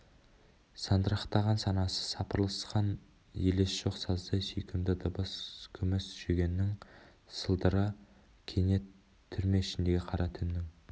сандырақтаған санасы сапырылысқан елес жоқ саздай сүйкімді дыбыс күміс жүгеннің сылдыры кенет түрме ішіндегі қара түннің